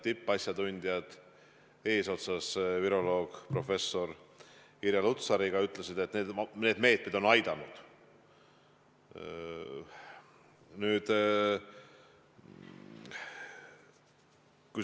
Tippasjatundjad eesotsas viroloog professor Irja Lutsariga ütlesid, et need meetmed on aidanud.